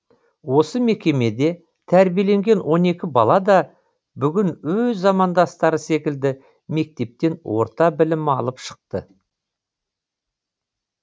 осы мекемеде тәрбиеленген он екі бала да бүгін өз замандастары секілді мектептен орта білім алып шықты